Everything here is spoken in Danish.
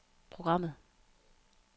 programmet